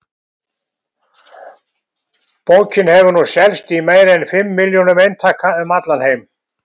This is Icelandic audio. Bókin hefur nú selst í meira en fimm milljónum eintaka um allan heim.